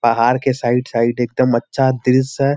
पहाड़ के side side एकदम अच्छा दृश्य है।